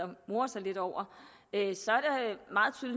og morer sig lidt over